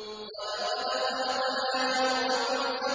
وَلَقَدْ خَلَقْنَا فَوْقَكُمْ سَبْعَ طَرَائِقَ